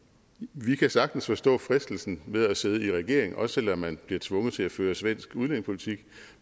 vi kan sagtens forstå fristelsen ved at sidde i regering også selv om man bliver tvunget til at føre svensk udlændingepolitik